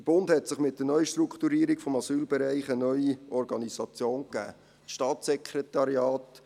Der Bund hat sich mit der Neustrukturierung des Asylbereichs eine neue Organisation gegeben.